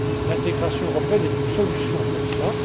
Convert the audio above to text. L'intégration européenne est une solution pour cela.